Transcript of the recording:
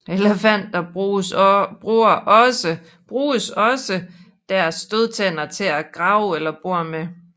Elefanter bruges også deres stødtænder til at grave eller bore med